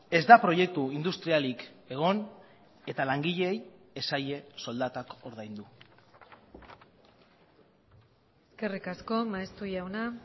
ez da proiektu industrialik egon eta langileei ez zaie soldatak ordaindu eskerrik asko maeztu jauna